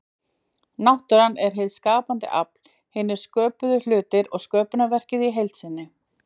Náttúran er hið skapandi afl, hinir sköpuðu hlutir og sköpunarverkið í heild sinni.